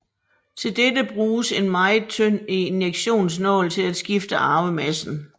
Til dette bruges en meget tynd injektionsnål til at skifte arvemassen